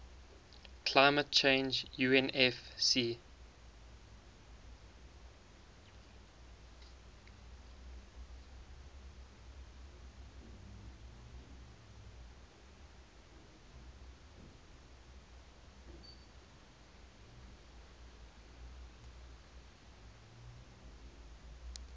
climate change unfccc